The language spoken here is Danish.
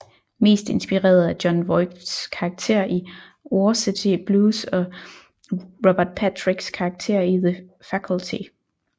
Mest inspireret af Jon Voights karakter i Varsity Blues og Robert Patriks karakter i The Faculty